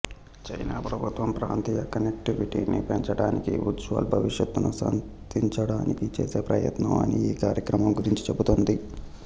China ప్రభుత్వం ప్రాంతీయ కనెక్టివిటీని పెంచడానికీ ఉజ్వల భవిష్యత్తును సాధించ్డానికీ చేసే ప్రయత్నం అని ఈ కార్యక్రమం గురించి చెబుతుంది